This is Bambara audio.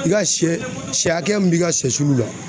I ka sɛ sɛ hakɛya min b'i ka sɛsulu la.